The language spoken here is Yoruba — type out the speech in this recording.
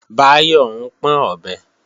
Báyọ̀ ń pọ́n ọ̀bẹ